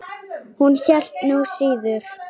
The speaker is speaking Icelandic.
Hún hélt nú síður.